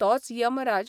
तोच यमराज